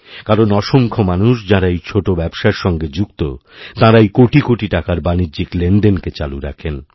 কারণ অসংখ্য মানুষ যাঁরা এই ছোটো ব্যবসার সঙ্গে যুক্ত তাঁরাই কোটি কোটি টাকারবাণিজ্যিক লেনদেনকে চালু রাখেন